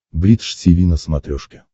бридж тиви на смотрешке